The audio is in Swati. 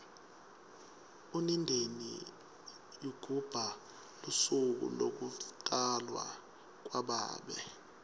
unindeni ygubha lusuku lokutafwo kwababe